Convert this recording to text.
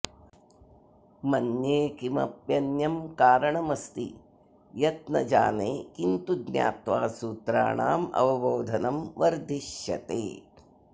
मन्ये किमप्यन्यं कारणमस्ति यत् न जाने किन्तु ज्ञात्वा सूत्राणामवबोधनं वर्धिष्यते